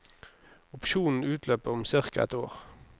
Opsjonen utløper om cirka ett år.